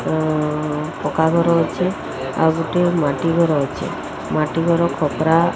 ଅଁ ପକ୍କା ଘର ଅଛେ। ଆଉ ଗୋଟିଏ ମାଟି ଘର ଅଛେ। ମାଟି ଘର ଖପ୍ରା --